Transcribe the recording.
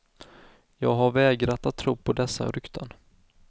Jag har vägrat att tro på dessa rykten.